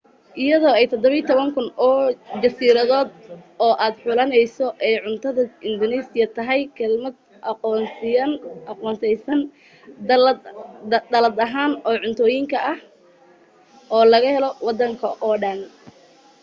iyadoo ay 17,000 oo jasiiradood oo aad xulanayso ayay cuntada indunuusiya tahay kelmad koonsanaysa dallad dhan oo cuntooyin ah oo laga helo waddankoo dhan